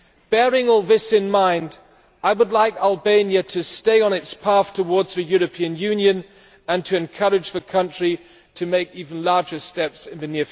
Bearing all this in mind, I would like Albania to stay on its path towards the European Union and would encourage the country to take even bigger steps in the